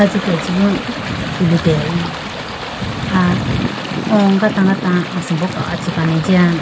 Sitechibo tulitelayibo aya o gata gata asimbo kachi kani jiya.